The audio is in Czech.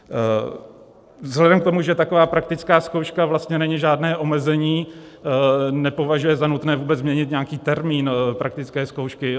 Vzhledem k tomu, že taková praktická zkouška vlastně není žádné omezení, nepovažuje za nutné vůbec měnit nějaký termín praktické zkoušky.